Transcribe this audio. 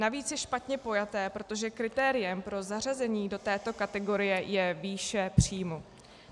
Navíc je špatně pojaté, protože kritériem pro zařazení do této kategorie je výše příjmu.